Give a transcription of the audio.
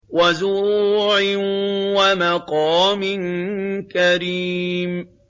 وَزُرُوعٍ وَمَقَامٍ كَرِيمٍ